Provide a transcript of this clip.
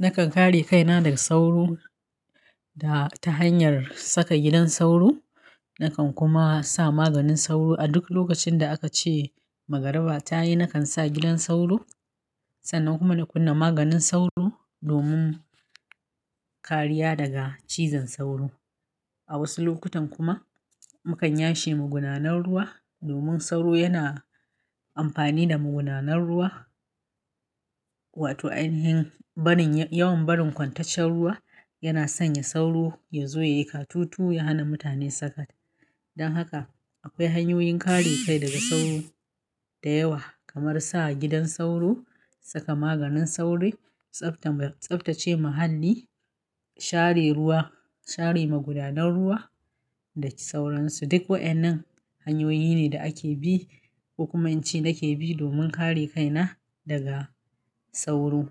Nakan kare kaina daga sauro da ta hanyar saka gidan sauro. Nakan kuma sa maganin sauro a duk lokacin da aka ce magariba ta yi. Nakan sa gidan sauro, sannan kuma na kunna maganin sauro domin kariya daga cizon sauro. A wasu lokutan kuma mu kan ya she magunanan ruwa, domin sauro yana amfani da magunanan ruwa. Wato ainihin barin, yawan barin kwantaccen ruwa yana sanya sauro ya zo ya yi katutu, ya hana mutane saka. Dan haka akwai hanyoyin kare kai daga sauro da yawa, kamar sa gidan sauro, saka maganin sauro, tsafta, tsaftace muhalli, share ruwa, share magudanar ruwa da sauransu. Duk wa'innan hanyoyi ne da ake bi, kokuma ince nake bi domin kare kaina daga sauro.